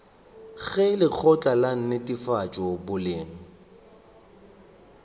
ge lekgotla la netefatšo boleng